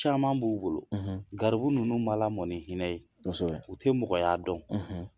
Caman b'u bolo, garibu ninnu ma lamɔ ni hinɛ ye, kosɛbɛ, u tɛ mɔgɔya dɔn